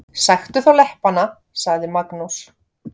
Sæktu þá leppana, sagði Magnús.